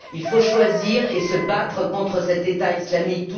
Il faut choisir et se battre contre cet État islamique.